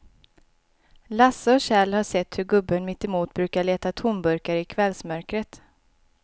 Lasse och Kjell har sett hur gubben mittemot brukar leta tomburkar i kvällsmörkret.